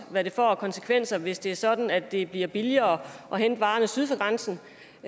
hvad det får af konsekvenser hvis det er sådan at det bliver billigere at hente varerne syd for grænsen